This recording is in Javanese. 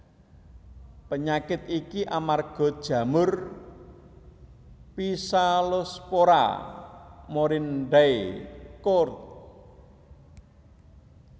Panyakit iki amarga jamur Physalospora morindae Koord